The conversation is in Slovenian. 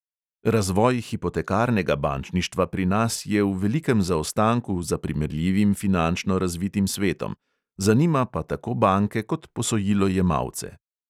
Razvoj hipotekarnega bančništva pri nas je v velikem zaostanku za primerljivim finančno razvitim svetom, zanima pa tako banke kot posojilojemalce.